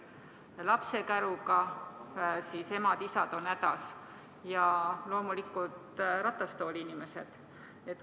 Lapsekäruga emad-isad on hädas ja loomulikult ka ratastooliinimesed.